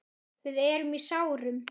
Við erum í sárum.